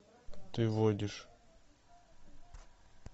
ты водишь